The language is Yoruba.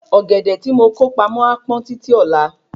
Ọ́gẹ̀dẹ̀ ti mo kó pamó a pọn títí ọ̀la